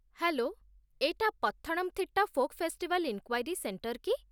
Hello, ଏଇଟା Pathanamthitta folk festival inquiry centre କି?